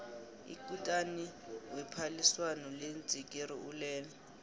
ikutani wephaliswano leentsikiri ulele